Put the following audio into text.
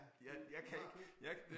Ja du du har købt den